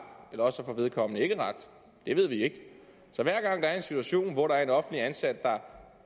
eller også får vedkommende ikke ret det ved vi ikke så hver gang der er en situation hvor der er en offentligt ansat der